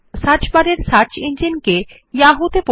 search বারের search engine কে Yahoo তে পরিবর্তন করুন